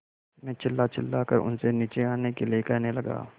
मैं चिल्लाचिल्लाकर उनसे नीचे आने के लिए कहने लगा